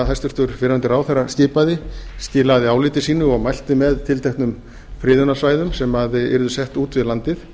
hæstvirtur fyrrverandi ráðherra skipaði skilaði áliti sínu og mælti með tilteknum friðunarsvæðum sem yrðu sett út við landið